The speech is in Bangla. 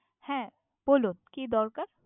হ্যাঁ বলুন, কি দরকার?